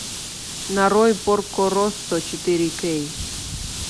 нарой порко россо четыре кей